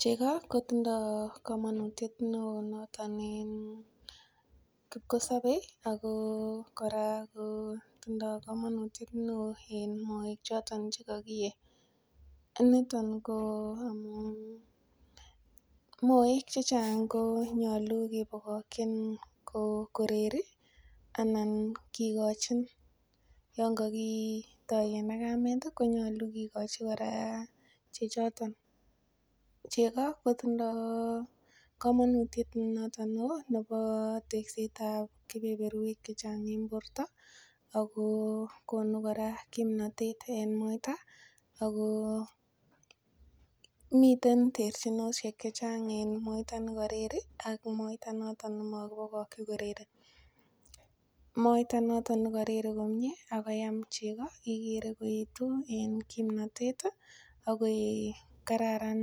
Cheko kotindoi komonutiet neo noton en kipkosopei ako kora kotindoi komonutiet neo eng moek choton chekakiiyei niton ko amun moek che chang ko nyolu kebokokchin koreri anan kikochin yon kokitoen kamet konyolu kikochi kora chechoton cheko kotindoi komonutiet noton neo nebo tekset ap kebeberwek che chang eng borta ako konu kora kimnotet eng moita ako miten terchinoshek che chang eng moita nekareri ak moita noton nimakipokokchi koreri moita noton nikareri komie akoyam cheko kekerer koyetu eng kimnotet ako kararan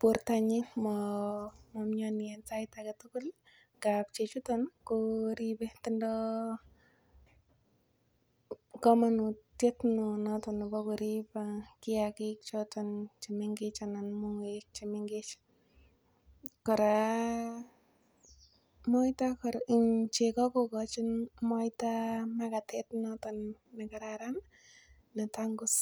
bortanyin ma miani eng sait age tugul ngap chechoton ko ribe tindoi komonutiet neo noton nebo korip kiyakik choton chemengech anan moek chemengech kora, cheko kokochin moita makatet noton nekararan netangus.